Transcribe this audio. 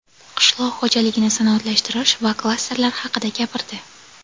qishloq xo‘jaligini sanoatlashtirish va klasterlar haqida gapirdi.